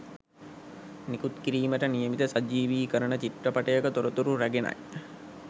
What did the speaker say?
නිකුත් කිරීමට නියමිත සජීවිකරණ චිත්‍රපටයක තොරතුරු රැගෙනයි